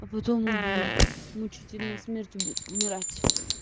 а потом убью мучительной смертью будет умирать